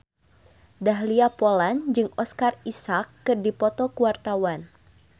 Dahlia Poland jeung Oscar Isaac keur dipoto ku wartawan